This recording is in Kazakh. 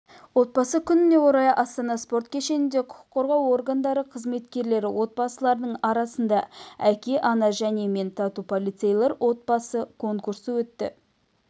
отбасы күніне орай астана спорт кешенінде құқық қорғау органдары қызметкерлері отбасыларының арасында әке ана және мен тату полицейлер отбасы конкурсы өтті